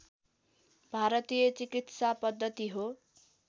भारतीय चिकित्सापद्दति हो